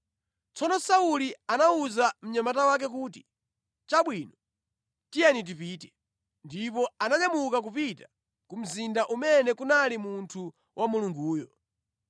Tsono Sauli anawuza mnyamata wake kuti, “Chabwino, tiye tipite.” Ndipo ananyamuka kupita ku mzinda umene kunali munthu wa Mulunguyo.